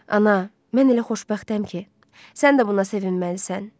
Ana, mən elə xoşbəxtəm ki, sən də buna sevinməlisən.